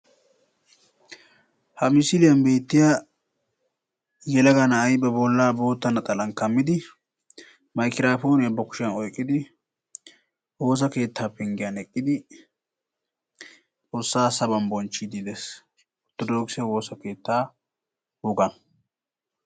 Ha misiliyan beettiya yelaga na'ayi ba bollaa bootta naxalan kammidi maygiraappooniya ba kushiyan oyqqidi woosa keettaa penggiyan eqqidi Xoossaa Saban bonchchiiddi des. Orttodookise woosa keettaa wogaa.